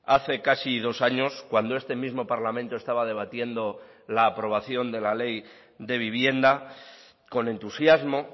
hace casi dos años cuando este mismo parlamento estaba debatiendo la aprobación de la ley de vivienda con entusiasmo